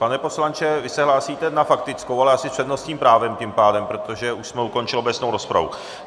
Pane poslanče, vy se hlásíte na faktickou, ale s přednostním právem tím pádem, protože už jsme ukončili obecnou rozpravu.